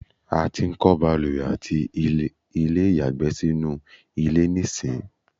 a ti ń kọ́ ìbalùwẹ̀ àti ilé ìyàgbẹ́ sínú ilé nísìń